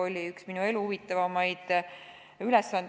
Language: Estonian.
Oli üks minu elu huvitavamaid ülesandeid.